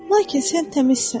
Lakin sən təmizsən.